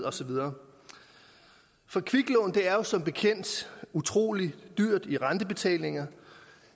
og så videre for kviklån er jo som bekendt utrolig dyrt i rentebetalinger